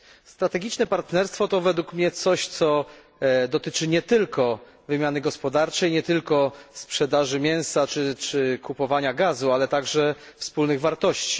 Strategiczne partnerstwo to według mnie coś, co dotyczy nie tylko wymiany gospodarczej, nie tylko sprzedaży mięsa czy kupowania gazu, ale także wspólnych wartości.